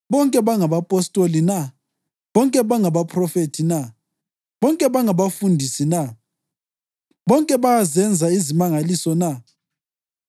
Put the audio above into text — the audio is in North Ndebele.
Bonke bangabapostoli na? Bonke bangabaphrofethi na? Bonke bangabafundisi na? Bonke bayazenza izimangaliso na?